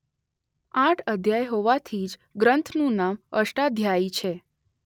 આઠ અધ્યાય હોવાથી જ ગ્રન્થનું નામ અષ્ટાધ્યાયી છે.